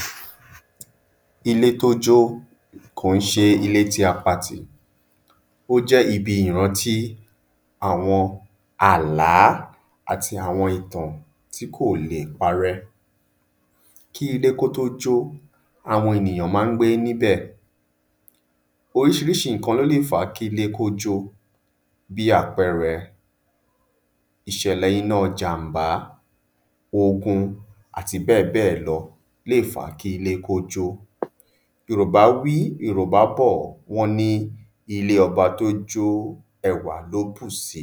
﻿ Ilé tí ó jọ́ kò n ṣe ilé tí a patì ó jẹ́ ibi ìrántí àwọn àlá, àti àwọn ìtàn tí kò lè parẹ́. Kí ilé tó jó, àwọn ènìyàn má n gbé níbẹ̀, orísirísi nnkan ló lè fá kí ilé kó jó, bí àpẹẹrẹ ìṣẹ̀lè inájànmbá, ogun àti bẹ́ẹ̀ bẹ́ẹ̀ lọ lè fá kí ó jó. Yòrùbá wí, yòrùbá bọ̀, wọ́n ní ilé ọba tí ó jó, ẹwà ló bùsi.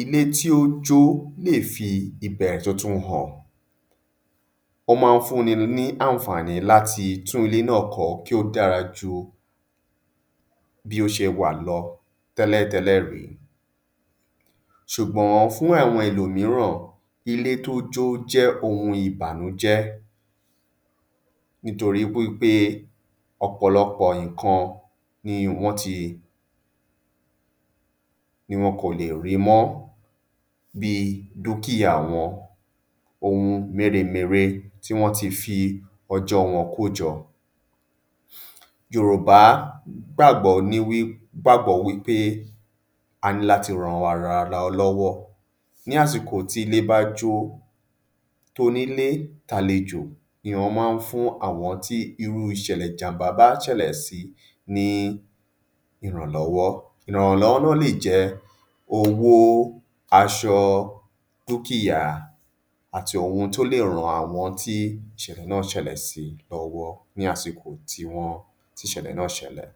Ilé tí ó jó lè fi ìbẹ̀ẹ̀rẹ̀ tuntun hàn, ó má n fún ní ànfààní láti tún ilé nà kọ́ kí ó dára ju bí ó ṣe wà lọ tẹ́lẹ̀tẹ́lẹ̀ rí, sùgbọ́n, fún àwọn ẹlòmíràn, ilé tí ó jó jẹ́ ohun ìbànújé, nítorí wípé ọ̀pọ̀lọpọ̀ nnkan ni wọ́n ti, ni wọn kò lè rí mọ́ bi dúkìá wọn, ohun méremère tí wọ́n ti fi ọjọ́ wọn kójọ. Yòrùbá gbàgbọ́ ní wí gbàgbọ́ wípé a ní láti ranra arawa lọ́wọ́. Ní àsìkò tí ilé bá jó, tonílé, tàlejò ni wọ́n má n fún irú àwọn tí ìjanmbá bá ṣẹ̀lẹ̀ sí ní ìrànlọ́wọ́. Ìrànlọ́wọ́ nà lè jẹ́ owó, aṣọ, dúkìá, àti ohun tí ó lè ran àwọn tí ìṣẹ̀lẹ̀ nà ṣẹlẹ̀ sí lọ́wọ́, ní àsìkò tí wọ́n tí ìṣẹ̀lẹ̀ nà ṣẹlẹ̀.